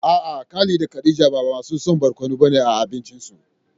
A'a Khalid da Khadija ba masu son barkono bane a abincinsu.